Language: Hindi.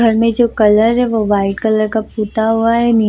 घर मे जो कलर है वो व्हाइट कलर का पुता हुआ है नी --